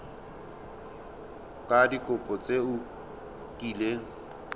ka dikopo tse o kileng